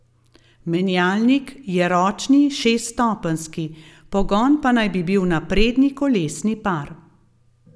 Menjalnik je ročni šeststopenjski, pogon pa naj bi bil na prednji kolesni par.